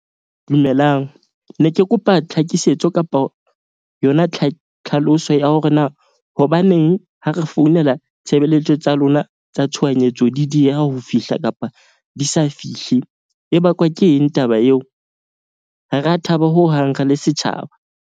Dumelang, ne ke kopa tlhakisetso kapa yona tlhaloso ya hore na hobaneng ha re founela tshebeletso tsa lona tsa tshohanyetso, di dieha ho fihla kapa di sa fihle e bakwa ke eng taba eo? Ha ra thaba hohang re le setjhaba.